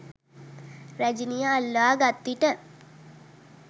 රැජිනිය අල්වා ගත්විට